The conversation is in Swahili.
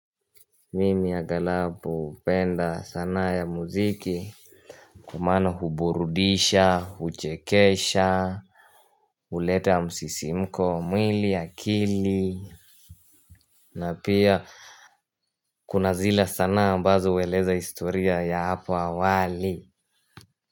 Mimi agalabu hupenda sanaa ya muziki, kwa maana huburudisha, huchekesha huleta musisimko wa mwili, akili na pia kuna zile sana mbazo hueleza historia ya hapo awali.